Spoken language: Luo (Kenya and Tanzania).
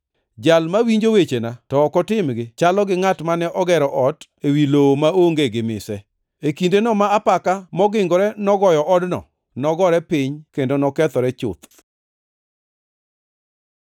To jal mawinjo wechena to ok otimgi chalo gi ngʼat mane ogero ot ewi lowo maonge gi mise. E kindeno ma apaka mogingore nogoyo odno, nogore piny kendo nokethore chuth.”